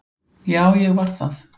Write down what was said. Já, ég var það.